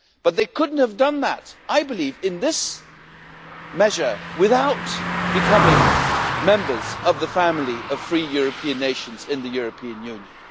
But they could not have done that, I believe, in this measure without becoming members of the family of free European nations in the European Union.